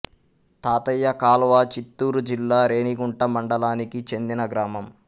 తాతయ్య కాల్వ చిత్తూరు జిల్లా రేణిగుంట మండలానికి చెందిన గ్రామం